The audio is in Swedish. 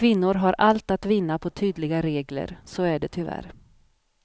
Kvinnor har allt att vinna på tydliga regler, så är det tyvärr.